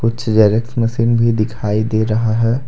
कुछ xerox machine भी दिखाई दे रहा है।